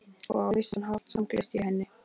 Og á vissan hátt samgleðst ég henni.